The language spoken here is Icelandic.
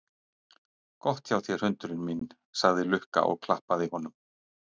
Gott hjá þér hundurinn minn, sagði Lukka og klappaði honum.